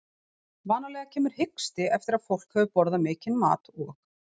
Vanalega kemur hiksti eftir að fólk hefur borðað mikinn mat og